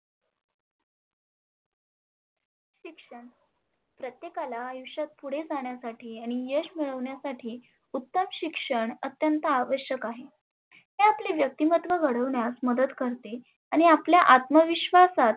शिक्षण, प्रत्येकाला आयुष्यात पुढे जाण्यासाठी आणि यश मिळवण्यासाठी उत्तम शिक्षण आत्यंत आवश्यक आहे. ते आपले व्यक्तिमत्व घडविण्यास मदत करते. आणि आपल्या आत्म विश्वासात